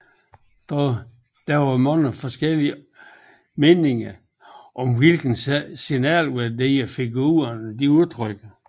Dog var der i offentligheden mange delte meninger om hvilke signalværdier figurerne udtrykte